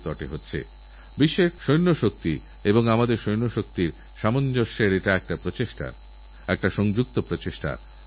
শুধু এই নয়গ্রামে যত প্লাস্টিকের বোতল কিংবা তেলের ক্যানের মতো আবর্জনা পড়ে ছিল তা খুঁজেখুঁজে জড়ো করে মাটি ভরে গাছ লাগিয়ে ভার্টিক্যাল গার্ডেন বানিয়েছেন